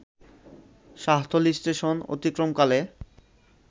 Shahtali station অতিক্রমকালে